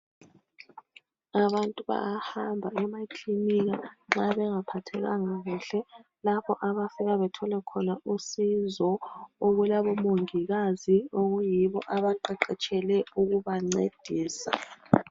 Abantu bayahamba emaklinika, nxa bengaphathekanga kuhle. Lapho abafika bethole khona usizo. Okulabomongikazi, okuyibo, abaqeqetshele ukubancedisa.